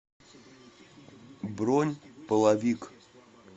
бронь половик